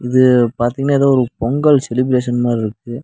இது பாத்திங்கன்னா எதோ ஒரு பொங்கல் செலிப்ரஷன் மார்ருக்கு.